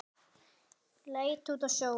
Leit út á sjóinn.